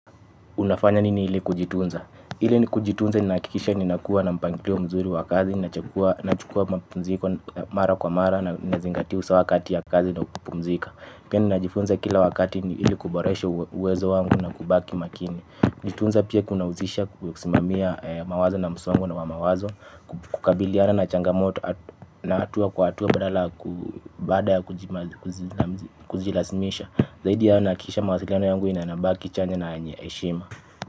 Unafanya nini ili kujitunza? Ili ni kujitunza ni nahakikisha ni nakuwa na mpangilio mzuri wa kazi, ninachukua mapunziko mara kwa mara nazingatia usawa kati ya kazi na kupumzika. Pia ni najifunza kila wakati ni hili kuboresha uwezo wangu na kubaki makini. Jitunza pia kuna husisha kusimamia mawazo na msongo na wamawazo, kukabiliana na changa moto na hatua kwa hatua badala ku baada ya kujilazimisha. Zaidi ya hao nahakikisha mawasialano yangu inabaki chanya na yenye heshima.